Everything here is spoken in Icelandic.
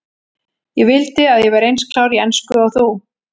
Ég vildi að ég væri eins klár í ensku og þú.